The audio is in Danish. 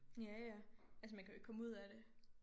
Ja ja altså man kan jo ikke komme ud af det